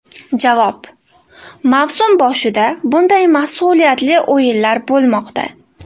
Javob: Mavsum boshida bunday mas’uliyatli o‘yinlar bo‘lmoqda.